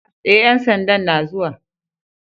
E, ƴan sandan na zuwa.